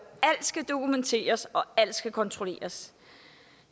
alt skal dokumenteres og at alt skal kontrolleres